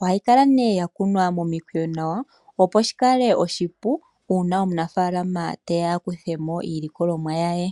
Ohayi kala nduno ya kunwa momikweyo nawa, opo shi kale oshipu una omunafaalama te ya a kuthe mo iilikolomwa ye.